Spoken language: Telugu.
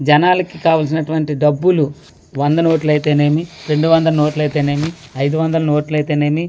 జనాలికి కావల్సినటువంటి డబ్బులు వంద నోట్లైతే నేమి రెండు వందల నోట్లైతే నేమి ఐదు వందల నోట్లైతే నేమి--